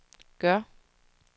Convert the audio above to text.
gør